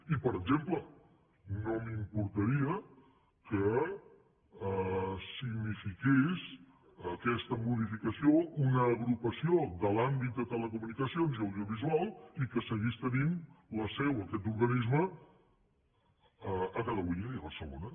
i per exemple no m’importaria que signi·fiqués aquesta modificació una agrupació de l’àmbit de telecomunicacions i audiovisual i que seguís tenint la seu aquest organisme a catalunya i a barcelona